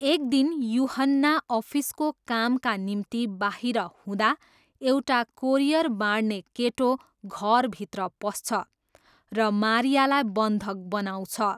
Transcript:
एक दिन युहन्ना अफिसको कामका निम्ति बाहिर हुँदा एउटा कोरियर बाँड्ने केटो घरभित्र पस्छ र मारियालाई बन्धक बनाउँछ।